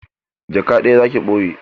Jaka ɗaya za ki ɓoye?